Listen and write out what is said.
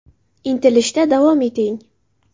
Intilishda davom eting!